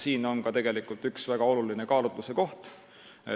Siin on üks väga olulisi kaalutluskohti.